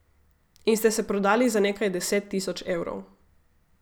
In ste se prodali za nekaj deset tisoč evrov.